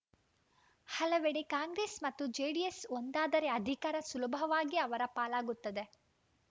ಹಲವೆಡೆ ಕಾಂಗ್ರೆಸ್‌ ಮತ್ತು ಜೆಡಿಎಸ್‌ ಒಂದಾದರೆ ಅಧಿಕಾರ ಸುಲಭವಾಗಿ ಅವರ ಪಾಲಾಗುತ್ತದೆ